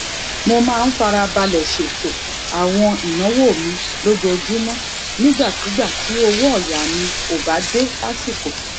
mo máa ń fara balè ṣètò àwọn ìnáwó mi lójoojúmó nígbàkigbà tí owó òyà mi ò bá dé lásìkò